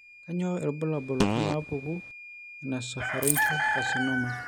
Kainyio irbulabul onaapuku eNasopharyngeal carcinoma?